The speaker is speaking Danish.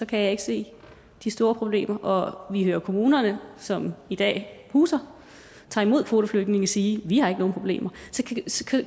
kan jeg ikke se de store problemer og vi hører kommunerne som i dag huser tager imod kvoteflygtninge sige vi har ikke nogen problemer